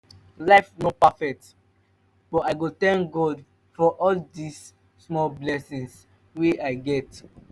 life no perfect but i go tank god for all di small blessings wey i get